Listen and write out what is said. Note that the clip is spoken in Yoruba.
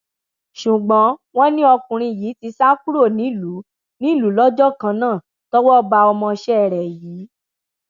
ṣùgbọn wọn ni ọkùnrin yìí ti sá kúrò nílùú nílùú lọjọ kan náà tọwọ ba ọmọọṣẹ rẹ yìí